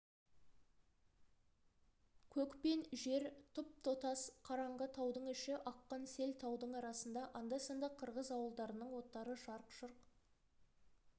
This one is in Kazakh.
көк пен жер тұп-тұтас қараңғы таудың іші аққан сел таудың арасында анда-санда қырғыз ауылдарының оттары жарқ-жұрқ